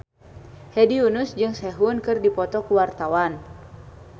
Hedi Yunus jeung Sehun keur dipoto ku wartawan